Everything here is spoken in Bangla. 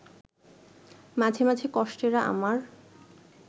মাঝে মাঝে কষ্টেরা আমার